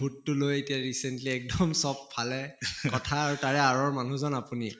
ভূত টো লৈ এতিয়া recently এক্দম চব ফালে কথা তাৰে আঁৰৰ মানুহ জন আপুনিয়ে